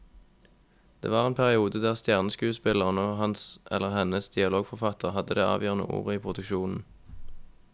Det var en periode der stjerneskuespilleren og hans eller hennes dialogforfatter hadde det avgjørende ordet i produksjonen.